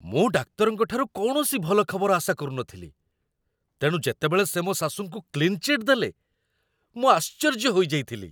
ମୁଁ ଡାକ୍ତରଙ୍କ ଠାରୁ କୌଣସି ଭଲ ଖବର ଆଶା କରୁନଥିଲି, ତେଣୁ ଯେତେବେଳେ ସେ ମୋ ଶାଶୁଙ୍କୁ କ୍ଲିନ୍ ଚିଟ୍ ଦେଲେ, ମୁଁ ଆଶ୍ଚର୍ଯ୍ୟ ହୋଇଯାଇଥିଲି।